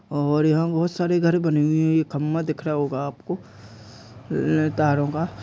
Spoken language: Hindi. और यहाँ बहुत सारे घर बने हुए हैं। खम्बा दिख रहा होगा आपको अ अ तारों का।